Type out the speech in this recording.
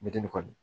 Mɛtiri kɔni